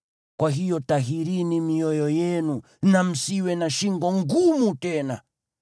Kwa hiyo tahirini mioyo yenu, na msiwe na shingo ngumu tena.